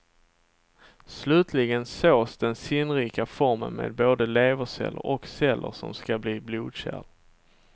Slutligen sås den sinnrika formen med både leverceller och celler som ska bli blodkärl.